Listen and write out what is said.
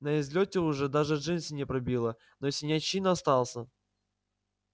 на излёте уже даже джинсы не пробило но синячина остался